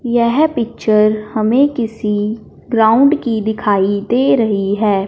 यह पिक्चर हमे किसी ग्राउंड की दिखाई दे रही है।